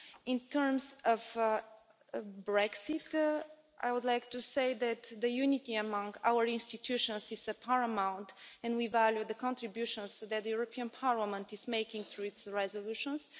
In terms of Brexit, I would like to say that unity among our institutions is paramount, and we value the contributions that the European Parliament is making through its resolutions.